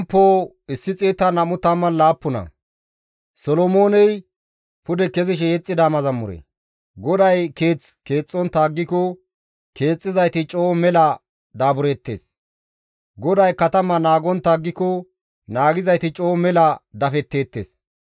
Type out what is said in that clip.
GODAY keeth keexxontta aggiko keexxizayti coo mela daabureettes; GODAY katama naagontta aggiko naagizayti coo mela dafetteettes.